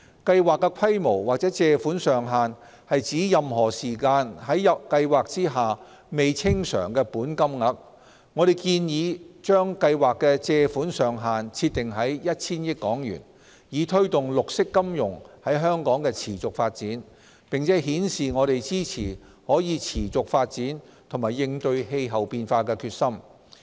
計劃的規模或借款上限是指任何時間在計劃下未清償的本金額。我們建議將計劃的借款上限設定在 1,000 億港元，以推動綠色金融在香港的持續發展，並顯示我們支持可持續發展及應對氣候變化的決心。